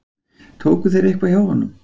Tóku þeir eitthvað hjá honum?